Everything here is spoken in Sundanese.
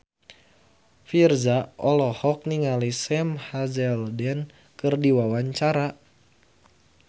Virzha olohok ningali Sam Hazeldine keur diwawancara